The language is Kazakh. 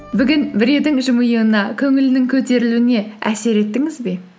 бүгін біреудің жымиюына көңілінің көтерілуіне әсер еттіңіз бе